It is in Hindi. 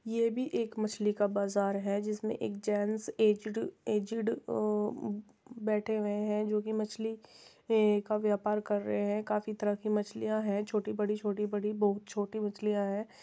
ये भी एक मछली का बाजार है जिसमें एक जेंट्स एजेड एजेड बैठे हुए हैं जो की मछली का व्यापार कर रहे हैं काफी तरह की मछलियां है छोटी बड़ी छोटी बड़ी बहुत छोटी मछलिया हैं |